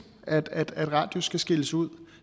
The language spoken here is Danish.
at at radius skal skilles ud